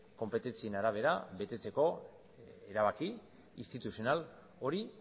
konpetentzien arabera betetzeko erabaki instituzional hori